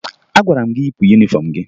Agwara m gị yipụ yunifọmụ gị!